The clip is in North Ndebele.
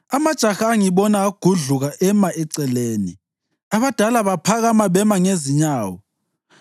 amajaha angibona agudluka ema eceleni, abadala baphakama bema ngezinyawo;